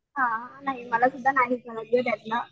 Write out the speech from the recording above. हां नाही मला सुद्धा नाहीच माहित त्यातलं.